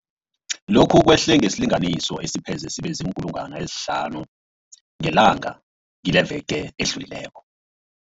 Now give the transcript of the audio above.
Lokhu kwehle ngesilinganiso esipheze sibe ziinkulungwana ezihlanu ngelanga kileveke edlulileko.